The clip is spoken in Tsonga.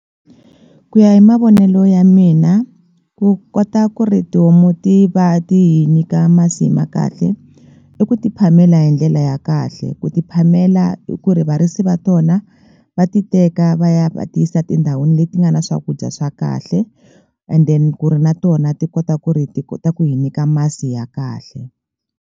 Ku ya hi mavonelo ya mina ku kota ku ri tihomu ti va ti hi nyika masi ma kahle i ku ti phamela hi ndlela ya kahle ku ti phamela i ku ri varisi va tona va ti teka va ya va ti yisa tindhawini leti nga na swakudya swa kahle and then ku ri na tona ti kota ku ri ti kota ku hi nyika masi ya kahle.